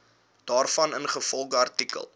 daarvan ingevolge artikel